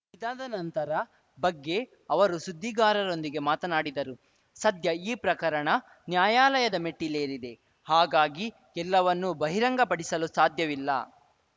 ಇದಾದ ನಂತರ ಬಗ್ಗೆ ಅವರು ಸುದ್ದಿಗಾರರೊಂದಿಗೆ ಮಾತನಾಡಿದರು ಸದ್ಯ ಈ ಪ್ರಕರಣ ನ್ಯಾಯಾಲಯದ ಮೆಟ್ಟಿಲೇರಿದೆ ಹಾಗಾಗಿ ಎಲ್ಲವನ್ನೂ ಬಹಿರಂಗಪಡಿಸಲು ಸಾಧ್ಯವಿಲ್ಲ